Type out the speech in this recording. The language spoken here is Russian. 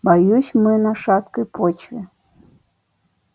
боюсь мы на шаткой почве